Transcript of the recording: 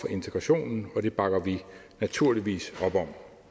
integrationen og det bakker vi naturligvis op om